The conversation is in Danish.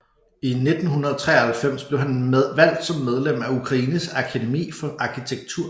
I 1993 blev han valgt som medlem af Ukraines Akademi for arkitektur